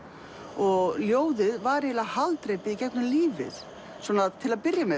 og ljóðið var eiginlega haldreipið í gegnum lífið svona til að byrja með